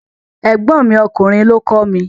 Ẹ̀gbọ́n mi ọkùnrin lọ kọ́ mi.